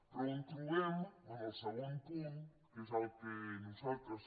però on trobem en el segon punt que és el que nosaltres